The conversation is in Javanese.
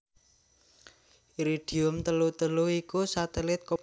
Iridium telu telu iku satelit komunikasi Iridium Amérika Sarékat